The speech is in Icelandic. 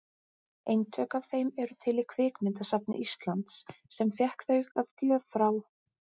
Eintök af þeim eru til í Kvikmyndasafni Íslands, sem fékk þau að gjöf frá